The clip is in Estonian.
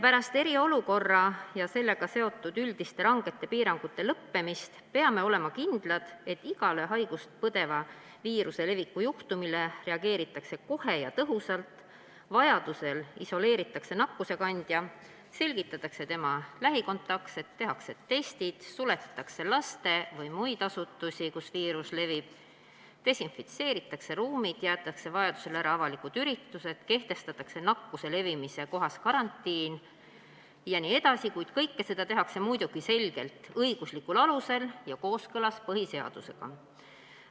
Pärast eriolukorra ja sellega seotud üldiste rangete piirangute lõppemist peame olema kindlad, et igale viiruse leviku juhtumile reageeritakse kohe ja tõhusalt, vajaduse korral isoleeritakse nakkuskandja, selgitatakse tema lähikontaktsed, tehakse testid, suletakse laste- või muid asutusi, kus viirus levib, desinfitseeritakse ruumid, jäetakse vajaduse korral ära avalikud üritused, kehtestatakse nakkuse levimise kohas karantiin jne, kuid kõike seda tehakse muidugi selgelt õiguslikul alusel ja kooskõlas põhiseadusega.